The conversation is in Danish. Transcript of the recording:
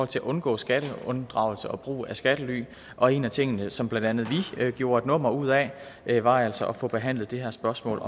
til at undgå skatteunddragelse og brug af skattely og en af tingene som blandt andet vi gjorde et nummer ud af var altså at få behandlet det her spørgsmål